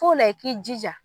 T'o la i k'i jija